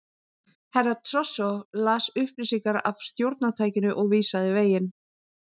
Herra Toshizo las upplýsingar af stjórntækinu og vísaði veginn.